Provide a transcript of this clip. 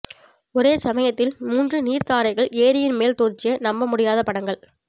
ஒரே சமயத்தில் மூன்று நீர்த்தாரைகள் ஏரியின் மேல் தோன்றிய நம்பமுடியாத படங்கள்